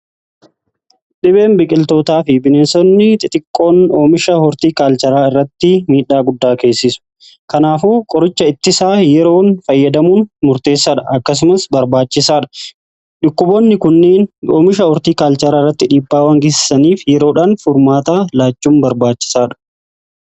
Dhibeen biqiltootaa fi bineensonni xixiqqoon oomisha hortii kaalchaaraa irratti miidhaa guddaa geessisu. Kanaafuu qoricha ittisaa yeroon fayyadamuun murteessaadha. Akkasumas barbaachisaa dha. Dhukkuboonni kunniin oomisha hortii kaalchaaraa irratti dhiibbaawan geessaniif yeroodhaan furmaata laachuun barbaachisaadha.